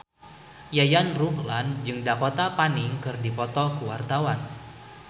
Yayan Ruhlan jeung Dakota Fanning keur dipoto ku wartawan